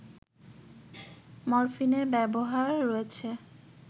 মরফিনের ব্যবহার রয়েছে